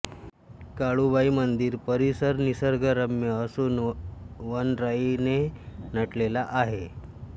काळुबाई मंदिर परिसर निसर्गरम्य असुन वनराई ने नटलेला आहे